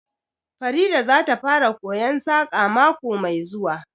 Farida zata fara koyon Saƙa mako mai zuwa